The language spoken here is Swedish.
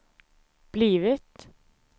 blivit